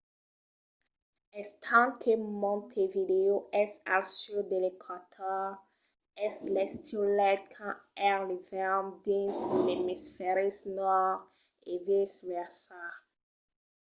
estent que montevideo es al sud de l'eqüator es l'estiu lai quand es l'ivèrn dins l'emisfèri nòrd e vice versa